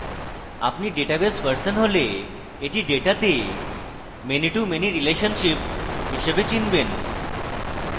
আপনি database person হলে এটি ডেটাতে many to many relationship হিসাবে চিনবেন